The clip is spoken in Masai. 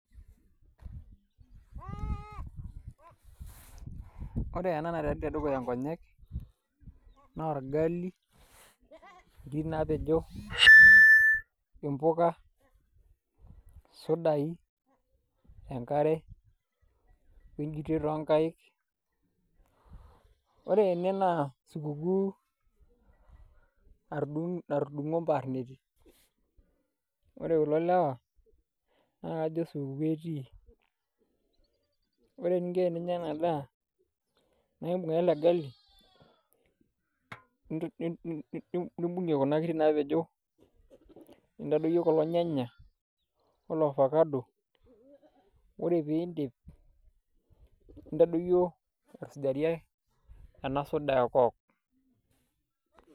Ore ena naatii tedukuya nkonyek naa orgali, nkiri naapejo, mpuka, sudai, enkare, o enjutet oonkaik ore ene naa [cs[sikukuu natudung'o imparneti ore kulo lewa naa kajo supukuu etii, ore eninko teninya ena daa naa imbung' ake ele gali nimbung'ie kuna kiri naapejo nintadoiki kulo nyanya o ele ofacado ore pee iindip nintadoyio aisujakie ena soda e coke.